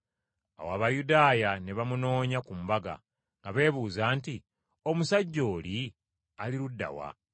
Awo Abayudaaya ne bamunoonya ku mbaga nga beebuuza nti, “Omusajja oli, ali ludda wa?”